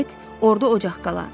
orda ocaq qala.